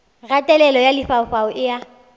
kgatelelo ya lefaufau e a